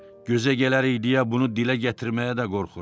Gözə gələrik deyə bunu dilə gətirməyə də qorxuram.